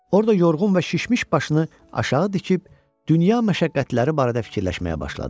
Orda yorğun və şişmiş başını aşağı tikib dünya məşəqqətləri barədə fikirləşməyə başladı.